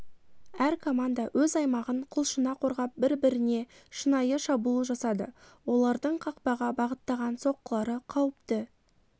әр команда өз аймағын құлшына қорғап бір-біріне шынайы шабуыл жасады олардың қақпаға бағыттаған соққылары қауіпті